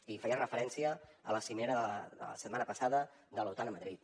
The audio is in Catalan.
i feia referència a la cimera de la setmana passada de l’otan a madrid